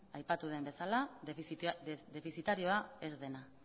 aipatu den bezala defizitarioa ez dena